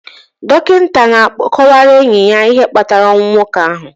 Dọkịta na-akọwara enyi ya ihe kpatara ọnwụ nwoke ahụ